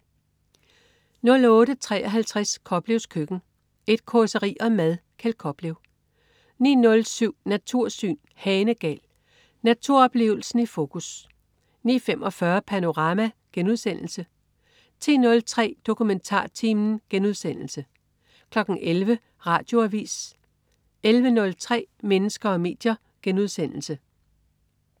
08.53 Koplevs køkken. Et causeri om mad. Kjeld Koplev 09.07 Natursyn. Hanegal. Naturoplevelsen i fokus 09.45 Panorama* 10.03 DokumentarTimen* 11.00 Radioavis 11.03 Mennesker og medier*